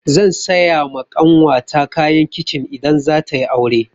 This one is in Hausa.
Zan saya ma ƙanwata kayan kicin idan zata yi aure.